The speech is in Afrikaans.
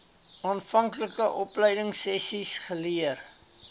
aanvanklike opleidingsessies geleer